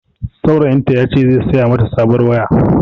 Saurayin ta ya ce zai saya ma ta sabuwar waya